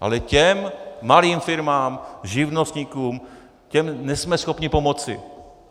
Ale těm malým firmám, živnostníkům, těm nejsme schopni pomoci.